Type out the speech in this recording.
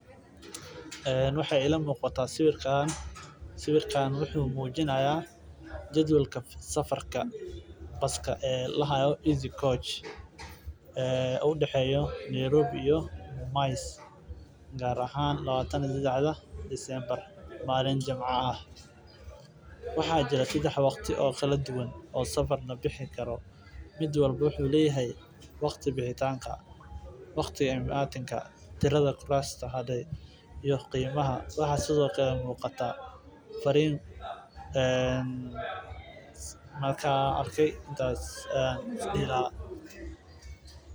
Waxaay ila muuqata sawiirkaan wuxuu mujinaaya jadwalka safarka baska udaxeeyo Nairobi ilaa mumias waxaa jiro sedex waqti oo kala duban waqtiga baxitaanka iyo waqtiga inashaha.